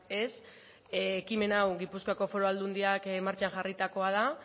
ez ekimen hau gipuzkoako foru aldundiak martxan jarritakoa da